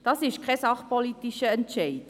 Das ist kein sachpolitischer Entscheid.